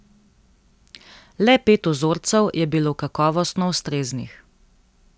Le pet vzorcev je bilo kakovostno ustreznih.